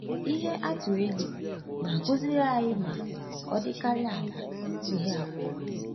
Ihe atụ eli na-akụziri anyị ma ọ dịkarịa ala ihe abụọ.